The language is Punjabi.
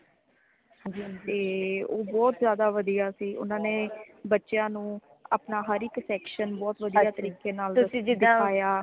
ਤੇ ਉਹ ਬਹੁਤ ਜਿਆਦਾ ਵਧੀਆ ਸੀ ਓਨਾ ਨੇ ਬੱਚਿਆਂ ਨੂੰ ਅਪਣਾ ਹਰ ਇੱਕ section ਬਹੁਤ ਵਧੀਆ ਤਰੀਕੇ ਨਾਲ ਦਿਖਾਇਆ